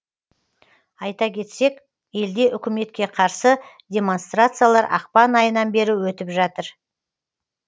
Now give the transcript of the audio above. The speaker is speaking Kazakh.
айта кетсек елде үкіметке қарсы демонстрациялар ақпан айынан бері өтіп жатыр